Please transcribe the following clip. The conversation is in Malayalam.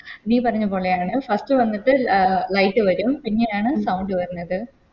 നീ പറഞ്ഞപോലെയാണ് First വന്നിട്ട് ലെ Light വരൂ പിന്നെയാണ് Sound വരണത്